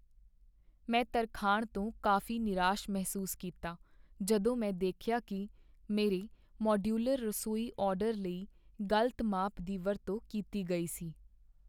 ਮੈਂ ਤਰਖਾਣ ਤੋਂ ਕਾਫ਼ੀ ਨਿਰਾਸ਼ ਮਹਿਸੂਸ ਕੀਤਾ ਜਦੋਂ ਮੈਂ ਦੇਖਿਆ ਕੀ ਮੇਰੇ ਮਾਡਯੂਲਰ ਰਸੋਈ ਆਰਡਰ ਲਈ ਗ਼ਲਤ ਮਾਪ ਦੀ ਵਰਤੋਂ ਕੀਤੀ ਗਈ ਸੀ।